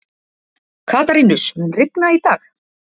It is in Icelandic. Katarínus, mun rigna í dag?